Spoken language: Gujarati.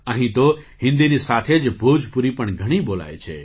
અહીં તો હિન્દીની સાથે જ ભોજપુરી પણ ઘણી બોલાય છે